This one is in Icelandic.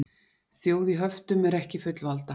Þjóð í höftum er ekki fullvalda